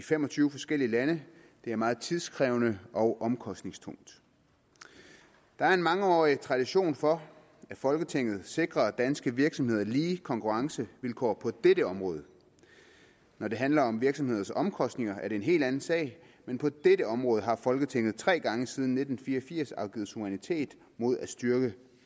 fem og tyve forskellige lande det er meget tidkrævende og omkostningstungt der er en mangeårig tradition for at folketinget sikrer danske virksomheder lige konkurrencevilkår på dette område når det handler om virksomheders omkostninger er det en helt anden sag men på dette område har folketinget tre gange siden nitten fire og firs afgivet suverænitet mod at styrke